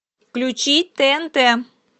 включи тнт